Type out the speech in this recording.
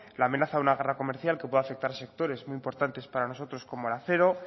la amenaza de una guerra comercial que puede afectar a sectores muy importantes para nosotros como el acero